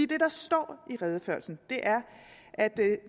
det der står i redegørelsen er at